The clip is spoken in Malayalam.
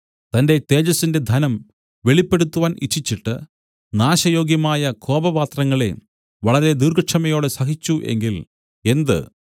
തന്റെ തേജസ്സിന്റെ ധനം വെളിപ്പെടുത്തുവാൻ ഇച്ഛിച്ചിട്ട് നാശയോഗ്യമായ കോപപാത്രങ്ങളെ വളരെ ദീർഘക്ഷമയോടെ സഹിച്ചു എങ്കിൽ എന്ത്